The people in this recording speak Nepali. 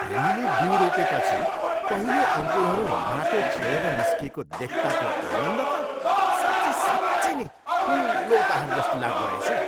हामीले बिउ रोपेपछि पहिलो अङ्कुरहरू माटो छेडेर निस्किएको देख्ताको आनन्द त साँच्चै साँच्चै नै ठुलो उपहार जस्तो लाग्दो रहेछ।